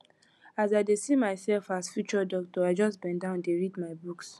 as i dey see myself as future doctor i just bendown dey read my books